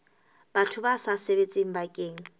batho ba sa sebetseng bakeng